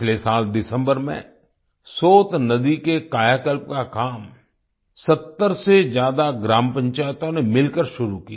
पिछले साल दिसंबर में सोत नदी के कायाकल्प का काम 70 से ज्यादा ग्राम पंचायतों ने मिलकर शुरू किया